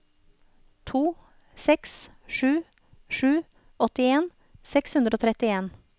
to seks sju sju åttien seks hundre og trettien